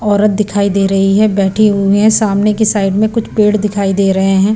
औरत दिखाई दे रही है बैठी हुई हैं सामने की साइड में कुछ पेड़ दिखाई दे रहे हैं।